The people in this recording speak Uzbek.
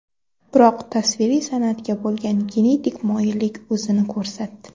Biroq tasviriy san’atga bo‘lgan genetik moyillik o‘zini ko‘rsatdi.